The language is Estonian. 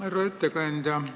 Härra ettekandja!